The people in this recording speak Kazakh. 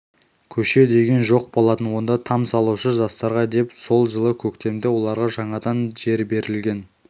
көше деген жоқ болатын онда там салушы жастарға деп сол жылы көктемде оларға жаңадан жер берілген